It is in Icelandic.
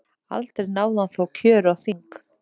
Aldrei náði hann þó kjöri á þing.